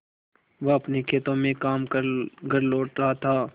वह अपने खेतों में काम कर घर लौट रहा था